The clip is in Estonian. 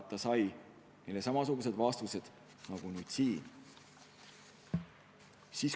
Ta sai neile samasugused vastused nagu nüüd siin.